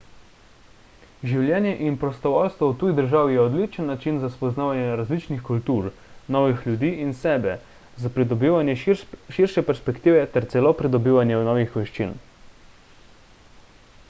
življenje in prostovoljstvo v tuji državi je odličen način za spoznavanje različnih kultur novih ljudi in sebe za pridobivanje širše perspektive ter celo pridobivanje novih veščin